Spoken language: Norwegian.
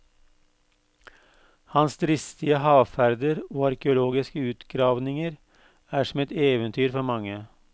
Hans dristige havferder og arkeologiske utgravninger er som et eventyr for mange.